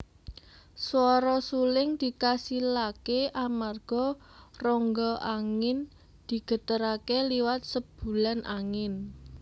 Swara suling dikasilaké amarga rongga angin digeteraké liwat sebulan angin